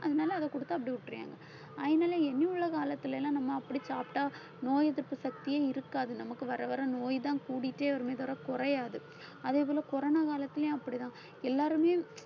அதனால அதை கொடுத்து அப்படியே விட்டுறாங்க அதனால இனி உள்ள காலத்துல எல்லாம் நம்ம அப்படி சாப்பிட்டால் நோய் எதிர்ப்பு சக்தியே இருக்காது நமக்கு வர வர நோய்தான் கூடிட்டே வருமே தவிர குறையாது அதேபோல corona காலத்திலேயும் அப்படிதான் எல்லாருமே